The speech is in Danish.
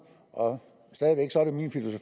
og